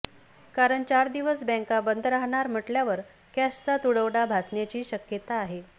कारण चार दिवस बँका बंद राहणार म्हटल्यावर कॅशचा तुटवडा भासण्याची शक्यता आहे